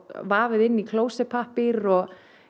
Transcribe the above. vafið inn í klósettpappír og